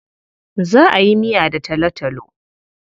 Za a yi miya da talotalo.